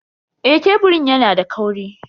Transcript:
Eh, keburin yana da kauri.